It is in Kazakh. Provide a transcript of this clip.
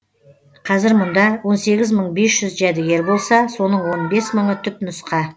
қазір мұнда он сегіз мың бес жүз жәдігер болса соның он бес мыңы түпнұсқа